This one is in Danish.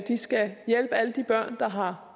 de skal hjælpe alle de børn der har